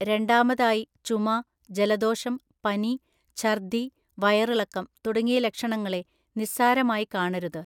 രണ്ടാമതായി, ചുമ, ജലദോഷം, പനി, ഛർദ്ദി, വയറിളക്കം തുടങ്ങിയ ലക്ഷണങ്ങളെ നിസ്സാരമായി കാണരുത്.